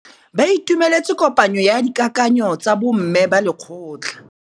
Ba itumeletse kôpanyo ya dikakanyô tsa bo mme ba lekgotla.